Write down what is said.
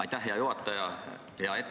Aitäh, hea juhataja!